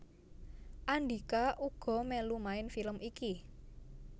Andhika uga mèlu main film iki